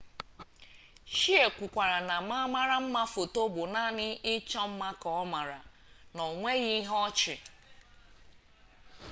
hsieh kwukwara na ma mara mma foto bụ naanị ịchọ mma ka ọ maara na onweghi ihe ọ chị